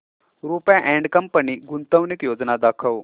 Rupa and company गुंतवणूक योजना दाखव